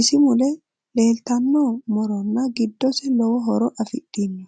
isi mule leeltano morono giddose lowo horo afidhino